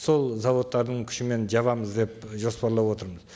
сол зауыттардың күшімен жабамыз деп жоспарлап отырмыз